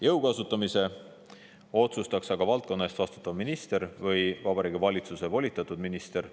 Jõu kasutamise otsustaks aga valdkonna eest vastutav minister või Vabariigi Valitsuse volitatud minister.